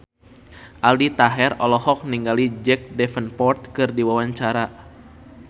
Aldi Taher olohok ningali Jack Davenport keur diwawancara